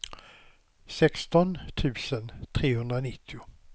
sexton tusen trehundranittio